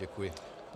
Děkuji.